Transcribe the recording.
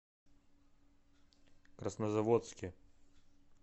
краснозаводске